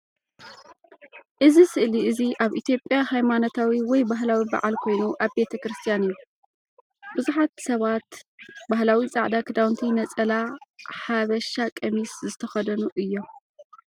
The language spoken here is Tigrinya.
እዚ ስእሊ እዚ ኣብ ኢትዮጵያ ሃይማኖታዊ ወይ ባህላዊ በዓል ኮይኑ ኣብ ቤተክርስትያን እዩ። ብዙሓት ሰባት ባህላዊ ጻዕዳ ኽዳውንቲ ነፀላ ሃበሻ ቀሚስ) ዝተከደኑ እዮም።